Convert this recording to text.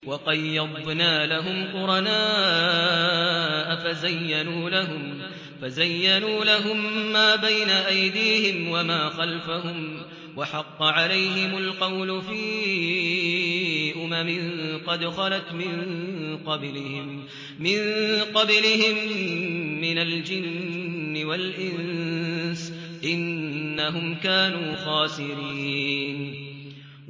۞ وَقَيَّضْنَا لَهُمْ قُرَنَاءَ فَزَيَّنُوا لَهُم مَّا بَيْنَ أَيْدِيهِمْ وَمَا خَلْفَهُمْ وَحَقَّ عَلَيْهِمُ الْقَوْلُ فِي أُمَمٍ قَدْ خَلَتْ مِن قَبْلِهِم مِّنَ الْجِنِّ وَالْإِنسِ ۖ إِنَّهُمْ كَانُوا خَاسِرِينَ